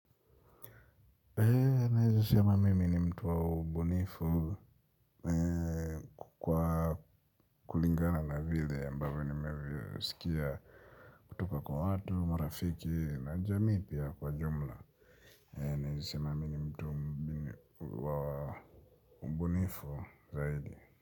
Naezesema mimi ni mtu wa ubunifu kwa kulingana na vide ambavyo ninavyosikia kutoka kwa watu, marafiki na jamii pia kwa jumla. Naeza sema mimi ni mtu wa mbunifu zaidi.